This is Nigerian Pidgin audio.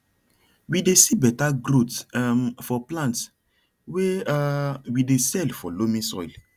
we dey see better growth um for plants way um we dey sell for loamy soil